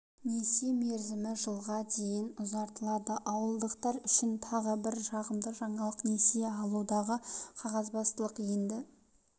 несие мерзімі жылға дейін ұзартылады ауылдықтар үшін тағы бір жағымды жаңалық несие алудағы қағазбастылық енді